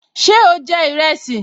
Ṣé o jẹ ìrẹsì?